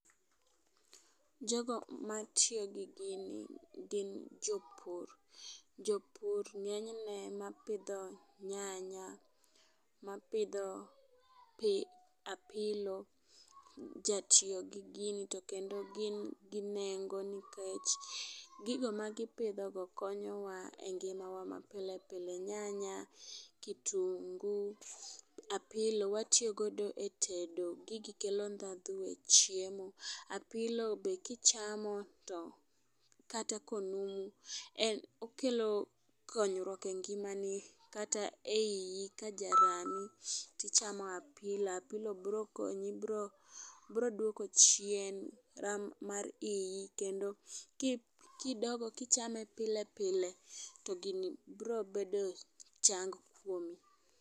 Jogo ma tiyo gi gini gin jopur jopur ng'enyne ma pidho nyanya, ma pidho pi apilo jatiyo gi gini. To kendo gin gi nengo nikech gigo ma gipidho go konyowa e ngimawa ma pilepile nyanya, kitungu ,apilo watiyo godo e tedo. Gigi kelo ndadhu e tedo apilo be kichamo kata konumu okelo konyruok e ngimani kata eiyi tichamo apilo. Apilo bro konyi bro duoko chien ram mar iyi kendo kidongo kichame pile pile to gini bro bedo chang' kuomi.